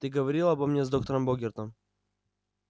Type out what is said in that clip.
ты говорил обо мне с доктором богертом